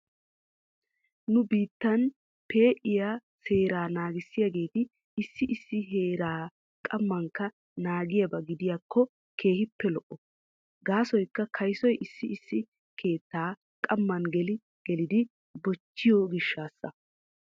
Nu biittan fe'iyaa seeraa naagissiyaageeti issi issi heeraa qammankka naagiyaaba gidiyaakko keehippe lo'o. Gaasoykka kaysoy issi issi keettaa qamman geli gilidi bogiichchiyoo gishshaasa.